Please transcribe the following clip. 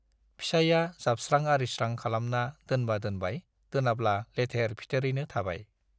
फिसाइया जाबस्रां-आरिस्रां खालामना दोनबा दोनबाय दोनाब्ला लेथेर-फिथैरैनो थाबाय।